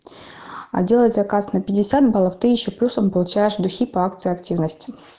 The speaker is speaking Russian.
а делать заказ на пятьдесят баллов ты ещё плюсом получаешь духи по акции активности